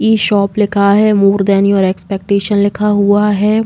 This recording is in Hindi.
इ शॉप लिखा है। मोर देन योर एक्सपेक्टेशन लिखा हुआ है।